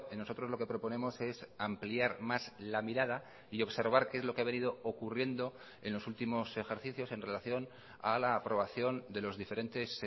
nosotros lo que proponemos es ampliar más la mirada y observar qué es lo que ha venido ocurriendo en los últimos ejercicios en relación a la aprobación de los diferentes